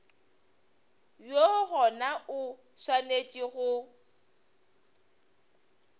woo gona o swanetše go